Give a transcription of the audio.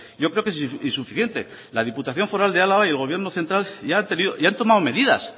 yo creo que es insuficiente la diputación foral de álava y el gobierno central ya han tomado medidas